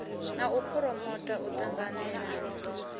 na u phuromota u ṱanganelana